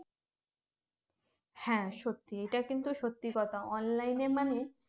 হ্যাঁ সত্যি এটা কিন্তু সত্যি কথা online এ মানে